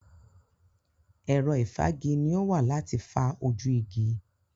Ẹ̀rọ ìfági ni ó wà láti fa ojú igi.